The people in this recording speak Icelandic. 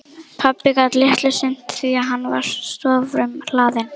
Pabbi gat litlu sinnt því að hann var störfum hlaðinn.